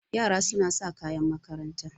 Yara suna sa kayan makaranta.